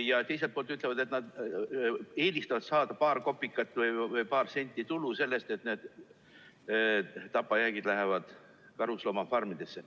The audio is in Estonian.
Ja teiselt poolt nad ütlevad, et nad eelistavad saada paar kopikat või paar senti tulu sellest, et need tapajäägid lähevad karusloomafarmidesse.